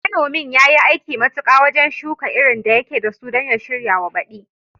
Manomin yayi aiki matuka wajen shuka irin da yake dasu don ya shiryawa baďi